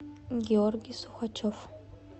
георгий сухачев